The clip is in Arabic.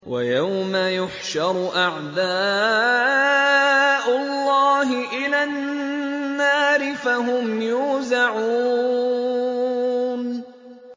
وَيَوْمَ يُحْشَرُ أَعْدَاءُ اللَّهِ إِلَى النَّارِ فَهُمْ يُوزَعُونَ